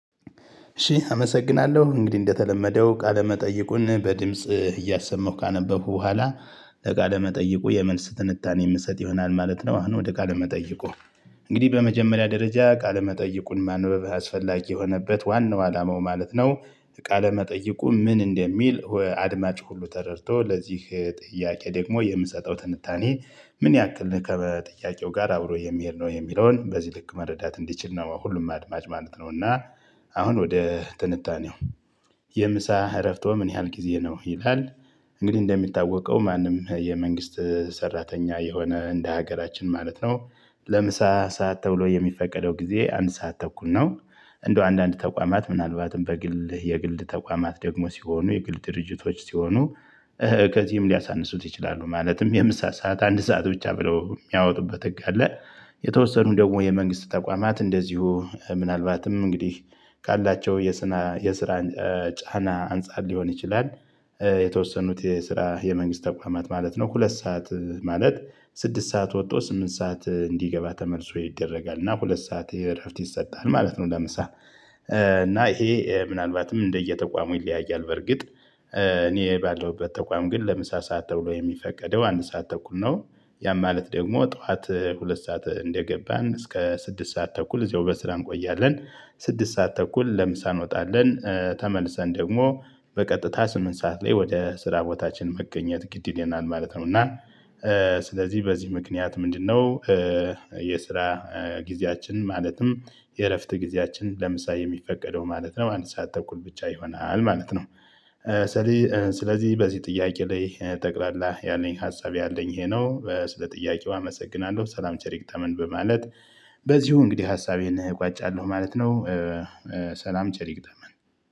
እሺ አመሰግናለሁ እንግዲህ እንደተለመደው ቃለ መጠይቁን በድምጽ እያሰመው ካነበቡ በኋላ ለቃለ መጠይቁ የመልስ ትንታኔ የምሰጥ ይሆናል ማለት ነው። አሁን ወደ ቃለ መጠይቁ። እንግዲህ በመጀመሪያ ደረጃ ቃለ መጠይቁን ማንበብ አስፈላጊ የሆነበት ዋናው አላማው ማለት ነው። ቃለ መጠይቁ ምን እንደሚል አድማጭ ሁሉ ተረድቶ ለዚህ ጥያቄ ደግሞ የምሰጠው ትንታኔ ምን ያክል ከጥያቄው ጋር አብሮ የሚሄድ ነው የሚለውን በዚህ ልክ መረዳት እንዲችል ነው። ሁሉም አድማጭ ማለት ነው። እና አሁን ወደ ትንታኔው የምሳ እረፍትዎ ምን ያህል ጊዜ ነው ቢባል? እንግዲህ እንደሚታወቀው ማንም የመንግስት ሰራተኛ የሆነ እንደ ሀገራችን ማለት ነው። ለምሳ ሰዓት ተብሎ የሚፈቀደው ጊዜ አንድ ሰዓት ተኩል ነው። እንደው አንዳንድ ተቋማት ምናልባትም በግል የግል ተቋማት ደግሞ ሲሆኑ የግል ድርጅቶች ሲሆኑ ከዚህም ሊያሳንሱት ይችላሉ። ማለትም የምሳ ሰዓት አንድ ሰዓት ብቻ ብለው የሚያወጡበት ህግ ካለ። የተወሰኑ ደግሞ የመንግስት ተቋማት እንደዚሁ ምናልባትም እንግዲህ ካላቸው የስራ የስራ ጫና አንፃር ሊሆን ይችላል። የተወሰኑት የስራ የመንግስት ተቋማት ማለት ነው ሁለት ሰዓት ማለት ስድስት ሰዓት ወጥቶ ስምንት ሰዓት እንዲገባ ተመልሶ ይደረጋል እና ሁለት ሰዓት እረፍት ይሰጣል ማለት ነው። ለምሳሌ እና ይሄ ምናልባትም እንደየተቋሙ ይለያያል በርግጥ። እኔ ባለሁበት ተቋም ግን ለምሳ ሰዓት ተብሎ የሚፈቀደው አንድ ሰዓት ተኩል ነው። ያ ማለት ደግሞ ጠዋት ሁለት ሰዓት እንደገባን እስከ ስድስት ሰዓት ተኩል እዛው በስራም እንቆያለን። ስድስት ሰዓት ተኩል ለምሳ እንወጣለን ተመልሰን ደግሞ በቀጥታ ስምንት ሰዓት ላይ ወደ ስራ ቦታችን መገኘት ግድ ይለናል ማለት ነው። እና ስለዚህ በዚህ ምክንያት ምንድነው? የስራ ጊዜያችን ማለትም የእረፍት ጊዜያችን ለምሳሌ የሚፈቀደው ማለት ነው አንድ ሰዓት ተኩል ብቻ ይሆናል ማለት ነው። ስለዚህ በዚህ ጥያቄ ላይ ጠቅላላ ያለኝ ሀሳብ ያለኝ ይሄ ነው ስለ ጥያቄው አመሰግናለሁ ሰላም ቸር ይግጥመን በማለት በዚሁ እንግዲህ ሀሳቤን እቋጫለሁ ማለት ነው። ሰላም ቸር ይግጠመን።